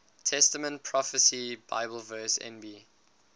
testament prophecy bibleverse nb